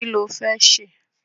Kí lo fẹ́ ṣe?